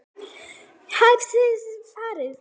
Tæpri viku seinna varstu farinn.